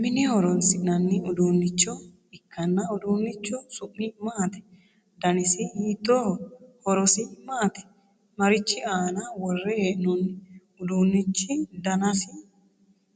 Mine horoonsi'nanni uduunicho ikanna uduunichu su'mi maati? Dannasi hiittooho? Horosi maati? Marichi aanna wore hee'noonni? Uduunichu dannasi